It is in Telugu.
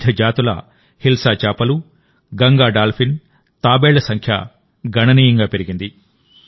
వివిధ జాతుల హిల్సా చేపలు గంగా డాల్ఫిన్ తాబేళ్ల సంఖ్య గణనీయంగా పెరిగింది